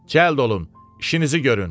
Cəld olun, işinizi görün.